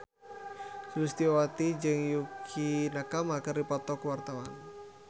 Sulistyowati jeung Yukie Nakama keur dipoto ku wartawan